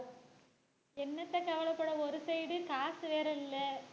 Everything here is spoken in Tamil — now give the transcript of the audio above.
என்னத்தை கவலைப்பட ஒரு side காசு வேற இல்லை